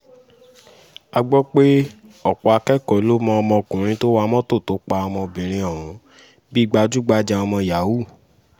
a gbọ́ pé ọ̀pọ̀ akẹ́kọ̀ọ́ ló mọ ọmọkùnrin tó wa mọ́tò tó pa ọmọbìnrin ọ̀hún bíi gbájú-gbájà ọmọ yahoo